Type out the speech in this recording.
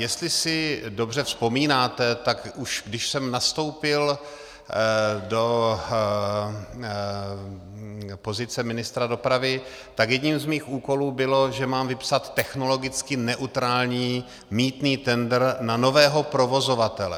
Jestli si dobře vzpomínáte, tak už když jsem nastoupil do pozice ministra dopravy, tak jedním z mých úkolů bylo, že mám vypsat technologicky neutrální mýtný tendr na nového provozovatele.